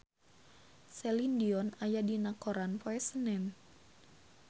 Celine Dion aya dina koran poe Senen